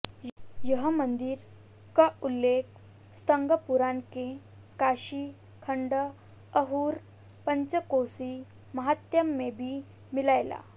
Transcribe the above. एह मंदिर क उल्लेख स्कंद पुराण के काशी खंड अउर पंचकोसी महात्म्य में भी मिलयला